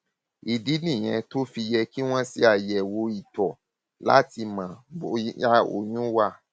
ìdí nìyẹn tó fi yẹ yẹ kí wọn ṣe àyẹwò ìtọ láti mọ bóyá oyún wà